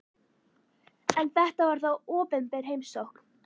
En þetta var þó opinber heimsókn.